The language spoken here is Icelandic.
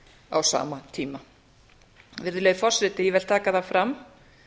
á sama tíma virðulegi forseti ég vil taka fram